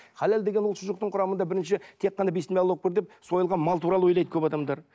халал деген ол шұжықтың құрамында бірнеше тек қана бисмиллях аллаһуакпар деп сойылған мал туралы ойлайды көп адамдар